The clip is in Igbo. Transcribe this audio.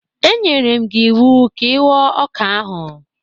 E nyere m gị iwu ka ịghọ ọka ahụ!